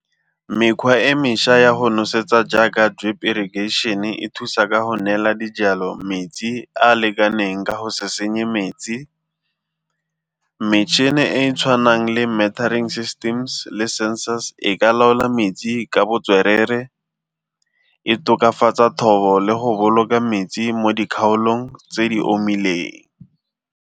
Mekgwa e mešwa ya go nosetsa jaaka drip irrigation-e e thusa ka go neela dijalo metsi a a lekaneng ka go se senye metsi. Metšhini e e tshwanang le systems le sensors e ka laola metsi ka botswerere e tokafatsa thobo le go boloka metsi mo dikgaolong tse di omileng.